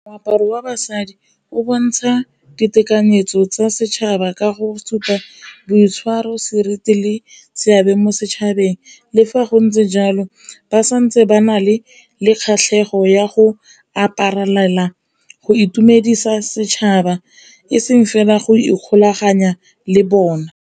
Moaparo wa basadi o bontsha ditekanyetso tsa setšhaba ka go supa boitshwaro, seriti le seabe mo setšhabeng le fa go ntse jalo, ba santse ba na le kgatlhego ya go aparelela go itumedisa setšhaba e seng fela go ikgolaganya le bona.